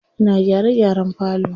Ina gyare gyaren falo.